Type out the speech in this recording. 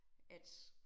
At